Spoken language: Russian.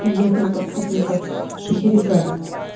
и я там подписана как шахерезада